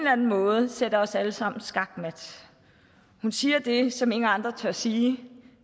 anden måde jo sætter os alle sammen skakmat hun siger det som ingen andre tør sige